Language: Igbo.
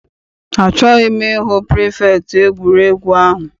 Achọghị m I hụ pirifektị egwuregwu ahụ.